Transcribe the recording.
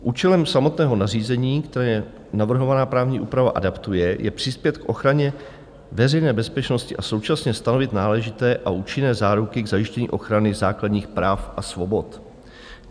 Účelem samotného nařízení, které navrhovaná právní úprava adaptuje, je přispět k ochraně veřejné bezpečnosti a současně stanovit náležité a účinné záruky k zajištění ochrany základních práv a svobod.